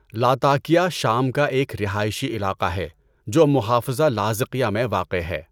Latakia شام کا ایک رہائشی علاقہ ہے جو محافظہ لاذقیہ میں واقع ہے۔